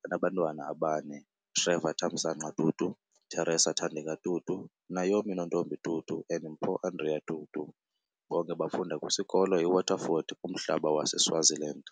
Banabantwana ababane- Trevor Thamsanqa Tutu, Theresa Thandeka Tutu, Naomi Nontombi Tutu and Mpho Andrea Tutu, bonke bafunda kwiskolo iWaterford Kamhlaba saseSwaziland.